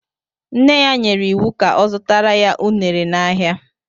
Nne ya nyere ya iwu ka ọ zụtara ya unere n'ahịa.